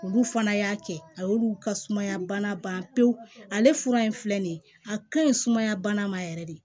Olu fana y'a kɛ a y'olu ka sumaya bana ban pewu ale fura in filɛ nin ye a ka ɲi sumaya bana ma yɛrɛ de